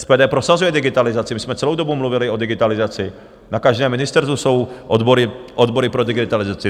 SPD prosazuje digitalizaci, my jsme celou dobu mluvili o digitalizaci, na každém ministerstvu jsou odbory pro digitalizaci.